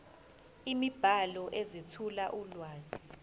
imibhalo ezethula ulwazi